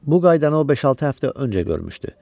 Bu qaydanı o beş-altı həftə öncə görmüşdü.